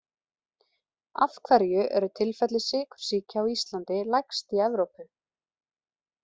Af hverju eru tilfelli sykursýki á Íslandi lægst í Evrópu?